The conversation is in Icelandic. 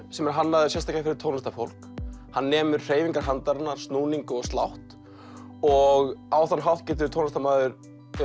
sem er hannaður sérstaklega fyrir tónlistarfólk hann nemur hreyfingar handarinnar snúning og slátt og á þann hátt getur tónlistarmaður